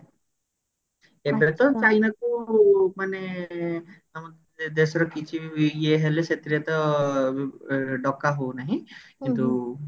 ଏବେ ତ ଚାଇନା କୁ ମାନେ ଆମର ଦେଶର କିଛି ବି ଇଏ ହେଲେ ସେଥିରେ ତ ଡକା ହଉ ନାହିଁ କିନ୍ତୁ